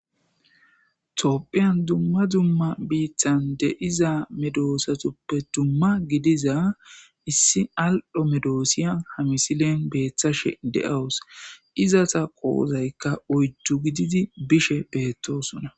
Toopphiyan dumma dumma biittan de7iza medoosatuppe dumma gidiza issi al7ho medoosiya hamisilen beeththashe de7awus izata qoozaykka oyddu gididi bishe beettoosona.